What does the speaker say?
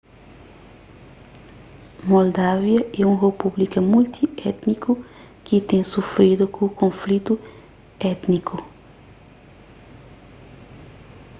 moldávia é un repúblika multi-étniku ki ten sufridu ku konflitu étiniku